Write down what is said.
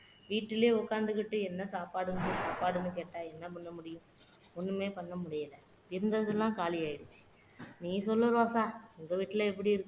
வீட்டுலயே உக்காந்துக்கிட்டு என்ன சாப்பாடு என்ன சாப்பாடுன்னு கேட்டா என்ன பண்ண முடியும் ஒண்ணுமே பண்ண முடியலை இருந்ததெல்லாம் காலி ஆயிடுச்சு நீ சொல்லு ரோசா உங்க வீட்டுல எப்படி இருக்கு